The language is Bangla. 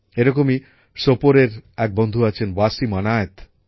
এ রকমই সোপর এর এক বন্ধু আছেন ওয়াসিম অনায়ত